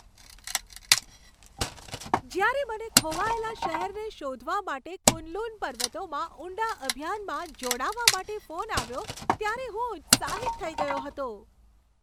જ્યારે મને ખોવાયેલા શહેરને શોધવા માટે કુન લુન પર્વતોમાં ઊંડા અભિયાનમાં જોડાવા માટે ફોન આવ્યો ત્યારે હું ઉત્સાહિત થઈ ગયો હતો.